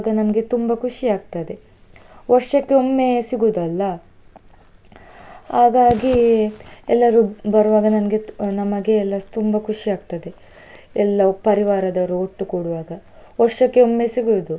ನಮ್ಗೆ ತುಂಬಾ ಖುಷಿ ಆಗ್ತದೆ ವರ್ಷಕ್ಕೆ ಒಮ್ಮೆ ಸಿಗುದಲ್ಲ. ಹಾಗಾಗಿ ಎಲ್ಲರೂ ಬರುವಾಗ ನನ್ಗೆ ನಮಗೆ ಎಲ್ಲ ತುಂಬಾ ಖುಷಿ ಆಗ್ತದೆ, ಎಲ್ಲಾ ಪರಿವಾರದವರು ಒಟ್ಟು ಕೂಡುವಾಗ, ವರ್ಷಕ್ಕೆ ಒಮ್ಮೆ ಸಿಗುದು.